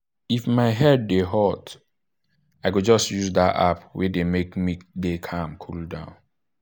if my head dey hot i go just use that app wey dey make me dey calm cool down.